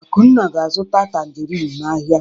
Akunna ga-azụta tanjerịn n'ahịa.